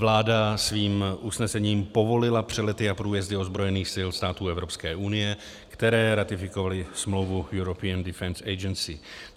Vláda svým usnesením povolila přelety a průjezdy ozbrojených sil států Evropské unie, které ratifikovaly smlouvu European Defence Agency.